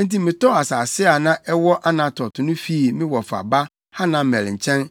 Enti metɔɔ asase a na ɛwɔ Anatot no fii me wɔfa ba Hanamel nkyɛn